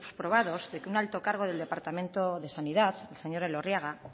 probados de que un alto cargo del departamento de sanidad el señor elorriaga